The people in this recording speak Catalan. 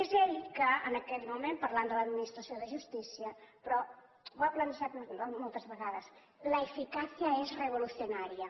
és ell que en aquell moment parlant de l’administració de justícia però ho ha plantejat moltes vegades la eficacia es revolucionaria